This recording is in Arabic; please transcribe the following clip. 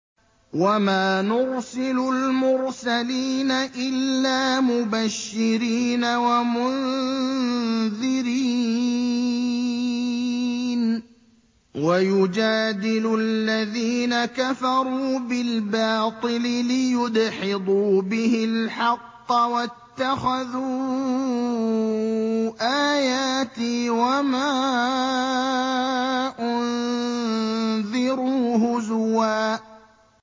وَمَا نُرْسِلُ الْمُرْسَلِينَ إِلَّا مُبَشِّرِينَ وَمُنذِرِينَ ۚ وَيُجَادِلُ الَّذِينَ كَفَرُوا بِالْبَاطِلِ لِيُدْحِضُوا بِهِ الْحَقَّ ۖ وَاتَّخَذُوا آيَاتِي وَمَا أُنذِرُوا هُزُوًا